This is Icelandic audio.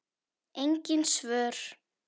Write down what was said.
Engin svör.